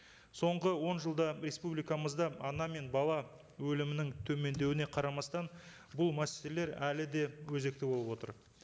соңғы он жылда республикамызда ана мен бала өлімінің төмендеуіне қарамастан бұл мәселелер әлі де өзекті болып отыр